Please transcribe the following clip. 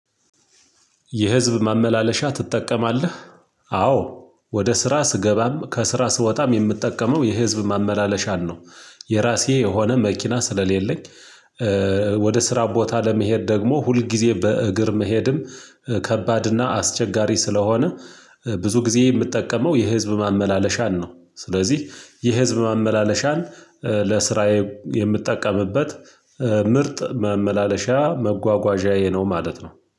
የህዝብ ማመላለሻ ትጠቀማለህ አዎ ወደ ስራ ስገባም ከስራ ስወጣም የምትጠቀመው የህዝብ ማመላለሻን ነው። የራሴ የሆነ መኪና ስለሌለኝ። ወደ ስራ ቦታ ለመሄድ ደግሞ ሁል ጊዜ በእግር መሄድም ከባድ እና አስቸጋሪ ስለሆነ ብዙ ጊዜ የምትጠቀመው የህዝብ ማመላለሻን ነው። ስለዚህ የህዝብ ማመላለሻን ለስራዬ የምትጠቀምበት ምርጥ መመላለሻ መጓጓዣዬ ነው ማለት ነው